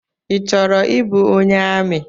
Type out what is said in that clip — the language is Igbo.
Ị chọrọ ịbụ onye amị?